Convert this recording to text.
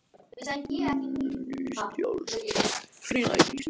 Ný skjálftahrina í Krýsuvík